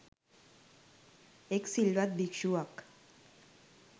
එක් සිල්වත් භික්‍ෂුවක්